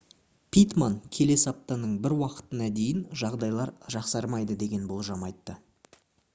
питтман келесі аптаның бір уақытына дейін жағдайлар жақсармайды деген болжам айтты